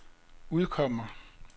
udkommer